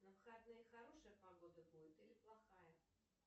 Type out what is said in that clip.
на выходные хорошая погода будет или плохая